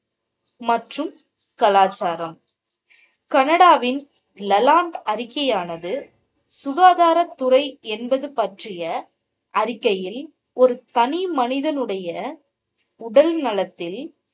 மற்றும் கலாச்சாரம். கனடாவின் லலாங் அறிக்கையானது, சுகாதாரத்துறை என்பது பற்றிய அறிக்கையில் ஒரு தனி மனிதனுடைய உடல் நலத்தில்